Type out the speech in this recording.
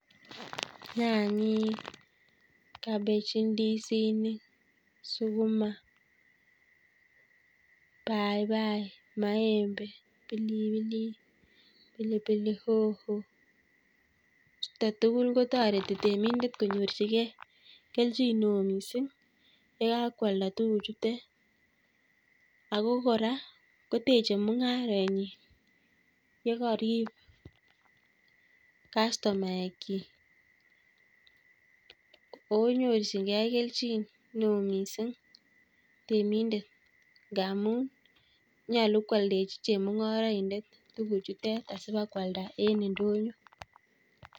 Nyanyek, cabbege, ndisinik, sukuma, paipai, maembe, pilipilik, pilipili hoho - chutok tugul kotoreti temindet konyorchigei kelchineoo miising' yekakwalda tuguchutek ako kora koteche mung'aretnyi yekarib kastomaek chik konyorchingei kelchin neoo miising' temindet ngaamu nyolu kwaldechi chemung'araindet tuguchutek asibakwalda en ndonyo